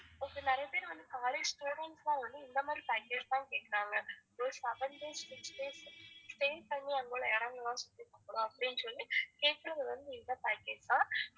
okay நிறைய பேர் வந்து college students லாம் வந்து இந்த மாதிரி package தான் கேக்கறாங்க ஒரு seven days six days stay பண்ணி அங்க உள்ள இடமெலாம் சுத்தி பாக்கணும் அப்டினு சொல்லி கேக்கற ஒரு இந்த package தான்